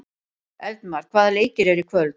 Eldmar, hvaða leikir eru í kvöld?